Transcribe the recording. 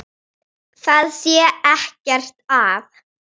Það sé ekkert að.